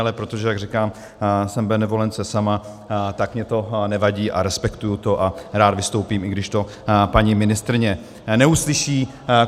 Ale protože, jak říkám, jsem benevolence sama, tak mi to nevadí a respektuji to a rád vystoupím, i když to paní ministryně neuslyší.